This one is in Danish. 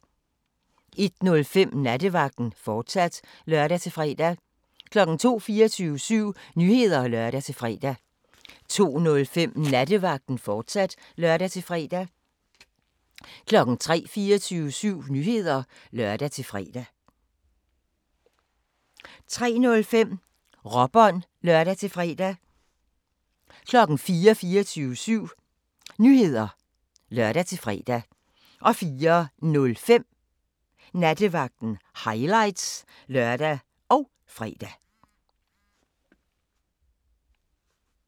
01:05: Nattevagten, fortsat (lør-fre) 02:00: 24syv Nyheder (lør-fre) 02:05: Nattevagten, fortsat (lør-fre) 03:00: 24syv Nyheder (lør-fre) 03:05: Råbånd (lør-fre) 04:00: 24syv Nyheder (lør-fre) 04:05: Nattevagten – highlights (lør og fre)